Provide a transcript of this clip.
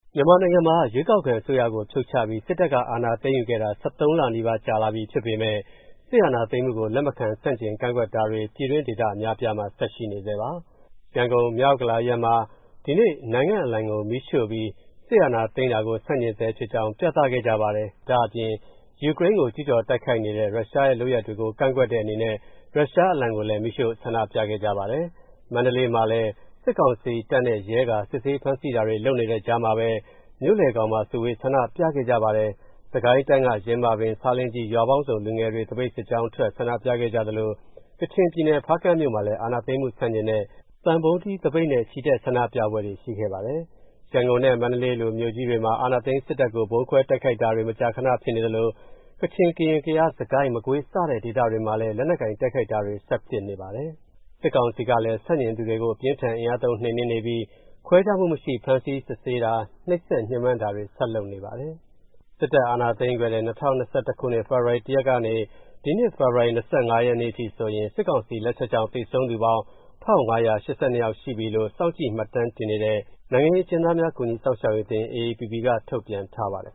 မြန်မာနိုင်ငံမှာ ရွေးကောက်ခံအစိုးရကို ဖြုတ်ချပြီး စစ်တပ်က အာဏာသိမ်းယူခဲ့တာ ၁၃ လနီးပါး ကြာလာပြီဖြစ်ပေမယ့် စစ်အာဏာသိမ်းမှုကို လက်မခံ ဆန့်ကျင်ကန့်ကွက်တာတွေ ပြည်တွင်း ဒေသအများအပြားမှာ ဆက်ရှိနေဆဲပါ။ ရန်ကုန်၊ မြောက်ဥက္ကလာအရပ်မှာ ဒီကနေ့ နိုင်ငံအလံကို မီးရှို့ပြီး စစ်အာဏာသိမ်းတာကို ဆန့်ကျင်ဆဲဖြစ်ကြောင်း ပြသခဲ့ကြပါတယ်။ ဒါ့အပြင် ယူကရိန်းကို ကျူးကျော်တိုက်ခိုက်နေတဲ့ ရုရှားရဲ့လုပ်ရပ်ကို ကန့်ကွက်တဲ့အနေနဲ့ ရုရှားအလံကိုလည်း မီးရှို့ ဆန္ဒပြခဲ့ကြပါတယ်။ မန္တလေးမှာလည်း စစ်ကောင်စီတပ်နဲ့ ရဲက စစ်ဆေး ဖမ်းဆီးတာတွေ လုပ်နေတဲ့ကြားမှာပဲ မြို့လယ်ခေါင်မှာ စုဝေး ဆန္ဒပြခဲ့ကြပါတယ်။ စစ်ကိုင်းတိုင်းက ယင်းမာပင်-ဆားလင်းကြီး ရွာပေါင်းစုံ လူငယ်တွေ သပိတ်စစ်ကြောင်းထွက် ဆန္ဒပြခဲ့ကြသလို ကချင်ပြည်နယ်၊ ဖားကန့်မြို့မှာလည်း အာဏာသိမ်းမှု ဆန့်ကျင်တဲ့ သံပုံးတီးသပိတ်နဲ့ ချီတက်ဆန္ဒပြပွဲ ရှိခဲ့ပါတယ်။ ရန်ကုန်နဲ့ မန္တလေးလို မြို့ကြီးတွေမှာ အာဏာသိမ်းစစ်တပ်ကို ဗုံးခွဲတိုက်ခိုက်တာတွေ မကြာခန ဖြစ်နေသလို ကချင်၊ ကရင်၊ ကယား၊ စစ်ကိုင်း၊ မကွေး စတဲ့ဒေသတွေမှာလည်း လက်နက်ကိုင် တိုက်ခိုက်တာတွေ ဆက်ဖြစ်နေပါတယ်။ စစ်ကောင်စီကလည်း ဆန့်ကျင်သူတွေကို အပြင်းအထန် အင်အားသုံး နှိမ်နင်းနေပြီး ခွဲခြားမှုမရှိ ဖမ်းဆီး စစ်ဆေးတာ၊ နှိပ်စက်ညှဉ်းပန်းတာတွေ ဆက်လုပ်နေပါတယ်။ စစ်တပ်အာဏာသိမ်းယူခဲ့တဲ့ ၂၀၂၁ ခုနှစ်၊ ဖေဖော်ဝါရီလ ၁ ရက်နေ့ကနေ ဒီနှစ် ဖေဖော်ဝါရီလ ၂၅ ရက်နေ့အထိဆိုရင် စစ်ကောင်စီလက်ချက်ကြောင့် သေဆုံးသူပေါင်း ၁,၅၈၂ ယောက်ရှိပြီလို့ စောင့်ကြည့် မှတ်တမ်းတင်နေတဲ့ နိုင်ငံရေးအကျဉ်းသားများ ကူညီစောင့်ရှောက်ရေးအသင်း က ထုတ်ပြန်ထားပါတယ်